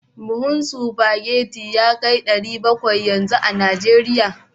Buhun spaghetti ya kai naira dari bakwai yanzu a Najeriya